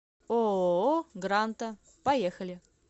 ооо гранта поехали